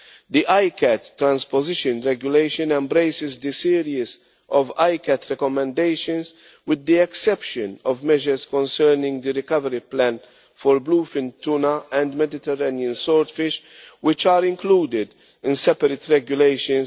The ICCAT transposition regulation embraces the series of ICCAT recommendations with the exception of measures concerning the recovery plan for bluefin tuna and Mediterranean swordfish, which are included in separate regulations.